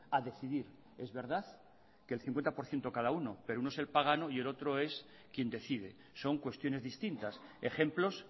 a decidir es verdad que el cincuenta por ciento cada uno pero uno es el pagano y el otro es quien decide son cuestiones distintas ejemplos